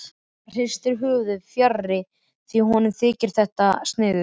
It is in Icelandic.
Hann hristir höfuðið, fjarri því að honum þyki þetta sniðugt.